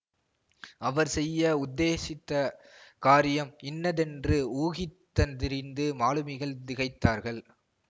அவர் செய்ய உத்தேசித்த காரியம் இன்னதென்று ஊகித்தந்தறிந்து மாலுமிகள் திகைத்தார்கள்